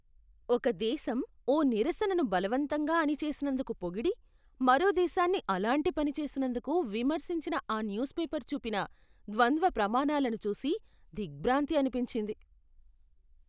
ఒక దేశం ఓ నిరసనను బలవంతంగా అణిచేసినందుకు పొగిడి, మరో దేశాన్ని అలాంటి పని చేసినందుకు విమర్శించిన ఆ న్యూస్ పేపర్ చూపిన ద్వంద్వ ప్రమాణాలను చూసి దిగ్భ్రాంతి అనిపించింది .